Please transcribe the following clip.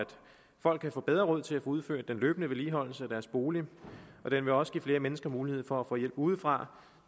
folk kan få bedre råd til at få udført den løbende vedligeholdelse af deres bolig og den vil også give flere mennesker mulighed for at få hjælp udefra